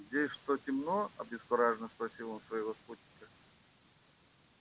здесь что темно обескураженно спросил он своего спутника